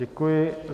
Děkuji.